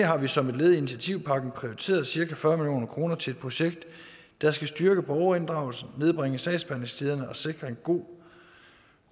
har vi som et led i initiativpakken prioriteret cirka fyrre kroner til et projekt der skal styrke borgerinddragelsen nedbringe sagsbehandlingstiderne og sikre en god